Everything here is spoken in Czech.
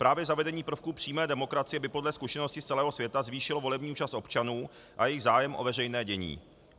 Právě zavedení prvků přímé demokracie by podle zkušeností z celého světa zvýšilo volební účast občanů a jejich zájem o veřejné dění.